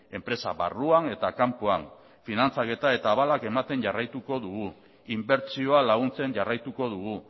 enpresa barruan eta kanpoan finantzaketa eta abalak ematen jarraituko dugu inbertsioa laguntzen jarraituko dugu